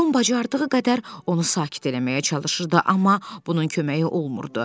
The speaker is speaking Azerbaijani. Tom bacardığı qədər onu sakit eləməyə çalışırdı, amma bunun köməyi olmurdu.